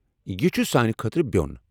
یہ چُھ سانہِ خٲطرٕ بیو٘ن ۔